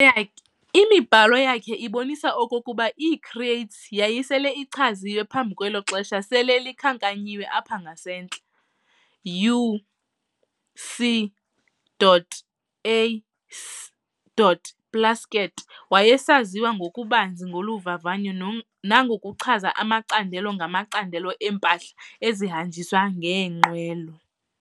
Yakhe imibhalo yakhe ibonisa okokuba ii-crates yayisele ichaziwe phambi kwelo xesha sele likhankanyiwe apha ngasentla. U-C. A. Plasket wayesaziwa ngokubanzi ngolu vavanyo nangokuchaza amacandelo ngamacandelo empahla ezihamnjiswa ngeenqwelo.